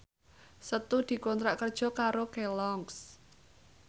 Setu dikontrak kerja karo Kelloggs